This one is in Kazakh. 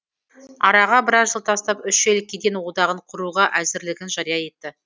араға біраз жыл тастап үш ел кеден одағын құруға әзірлігін жария етті